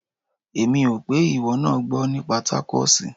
Èmi ò pé ìwọ náà gbọ́ nípa tákóòsì.